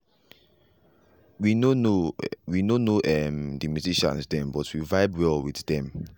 we nor know we nor know um the musicians them but we vibe well with dem.